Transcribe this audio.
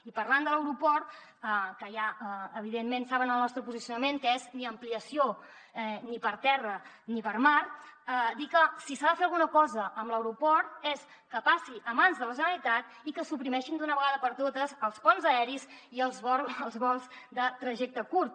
i parlant de l’aeroport que ja evidentment saben el nostre posicionament que és ni ampliació ni per terra ni per mar dir que si s’ha de fer alguna cosa amb l’aeroport és que passi a mans de la generalitat i que es suprimeixin d’una vegada per totes els ponts aeris i els vols de trajecte curt